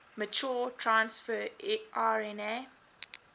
mature transfer rna